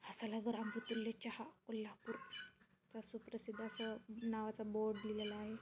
सलगर अमृत्तुल्या चहा कोल्हापूर सुप्रसिद्ध असं नावाचं असं बोर्ड लिहिलेला आहे.